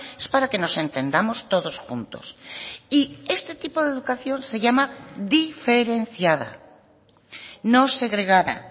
es para que nos entendamos todos juntos y este tipo de educación se llama diferenciada no segregada